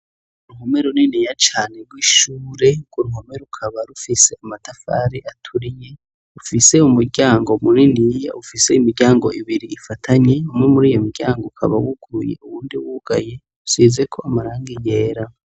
Ruhome runene ya cane rw'ishure ngo ruhome rukaba rufise amatafari aturiye ufise umuryango muri ni yiya ufise imiryango ibiri gifatanye umwe muri yo miryango ukaba wugurye uwundi wugaye usizeko amaranga yera.